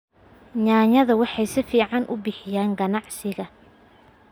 Yaanyada waxay si fiican u bixiyaan ganacsiga.